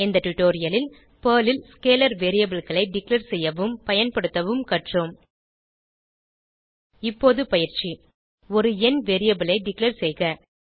இந்த டுடோரியலில் நாம் பெர்ல் ல் ஸ்கேலர் வேரியபிள் களை டிக்ளேர் செய்யவும் பயன்படுத்தவும் கற்றோம் இப்போது பயிற்சி ஒரு எண் வேரியபிள் ஐ டிக்ளேர் செய்க